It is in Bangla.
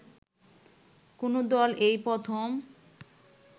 কোন দল এই প্রথম